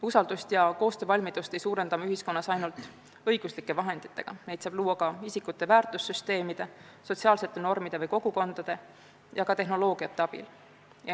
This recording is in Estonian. Usaldust ja koostöövalmidust ei suurenda me ühiskonnas ainult õiguslike vahenditega, neid saab luua ka isikute väärtussüsteemide, sotsiaalsete normide või kogukondade ja ka tehnoloogiate abil.